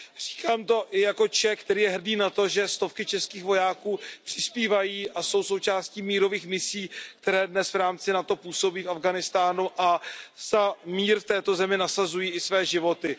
Říkám to i jako Čech, který je hrdý na to, že stovky českých vojáků přispívají a jsou součástí mírových misí, které dnes v rámci NATO působí v Afghánistánu, a za mír v této zemi nasazují i své životy.